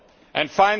the P and